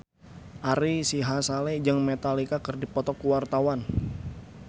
Ari Sihasale jeung Metallica keur dipoto ku wartawan